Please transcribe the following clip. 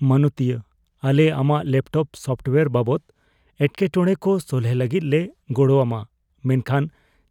ᱢᱟᱱᱚᱛᱤᱭᱟᱹ, ᱟᱞᱮ ᱟᱢᱟᱜ laptop software ᱵᱟᱵᱚᱫ ᱮᱴᱠᱮᱴᱚᱲᱮ ᱠᱚ ᱥᱚᱞᱦᱮ ᱞᱟᱹᱜᱤᱫ ᱞᱮ ᱜᱚᱲᱚ ᱟᱢᱟ, ᱢᱮᱱᱠᱷᱟᱱ